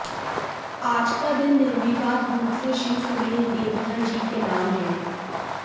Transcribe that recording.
आज का दिन निर्विवाद रूप से श्री सुनील देवधर जी के नाम हैं